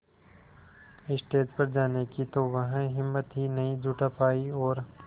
stage पर जाने की तो वह हिम्मत ही नहीं जुटा पाई और